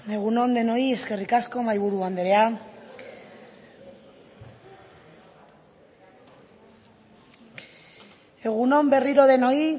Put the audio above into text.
egun on denoi eskerrik asko mahaiburu andrea egun on berriro denoi